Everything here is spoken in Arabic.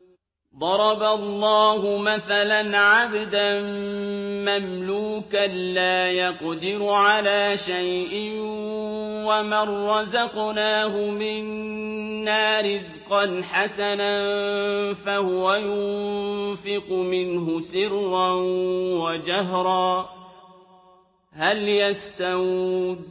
۞ ضَرَبَ اللَّهُ مَثَلًا عَبْدًا مَّمْلُوكًا لَّا يَقْدِرُ عَلَىٰ شَيْءٍ وَمَن رَّزَقْنَاهُ مِنَّا رِزْقًا حَسَنًا فَهُوَ يُنفِقُ مِنْهُ سِرًّا وَجَهْرًا ۖ هَلْ يَسْتَوُونَ ۚ